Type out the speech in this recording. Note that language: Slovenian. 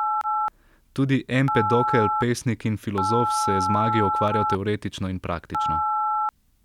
Tudi Empedokel, pesnik in filozof, se je z magijo ukvarjal teoretično in praktično.